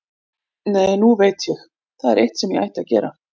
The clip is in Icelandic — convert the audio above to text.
Nei, nú veit ég, það er eitt sem ég ætti að gera.